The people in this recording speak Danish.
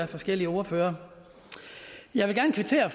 forskellige ordførere jeg vil gerne kvittere